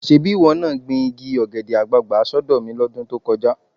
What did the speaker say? Ṣebí ìwọ náà gbin igi ọ̀gẹ̀dẹ̀ àgbààgbà sọ́dọ̀ mi lọ́dún tó kọjá.